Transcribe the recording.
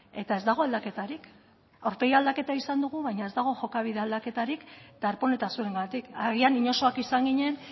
eta ez dago aldaketarik aurpegi aldaketa izan dugun baina ez dago jokabide aldaketarik darpón eta zuengatik agian inozoak izan ginen